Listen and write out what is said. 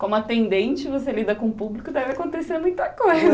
Como atendente, você lida com o público, deve acontecer muita coisa.